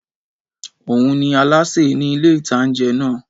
Óun ní alásè ní ilé-ìtánjẹ náà